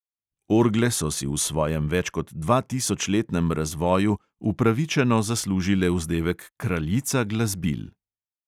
Orgle so si v svojem več kot dvatisočletnem razvoju upravičeno zaslužile vzdevek kraljica glasbil.